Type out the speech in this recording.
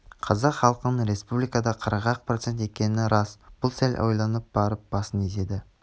қазақ халқының республикада қырық-ақ процент екен рас бұл сәл ойланып барып басын изеді